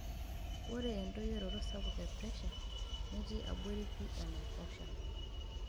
Ore endoyioroto sapuk e presha netii abori pii enaiposha.